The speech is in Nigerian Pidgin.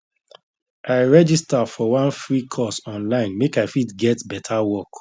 i register for one free course online make i fit get better work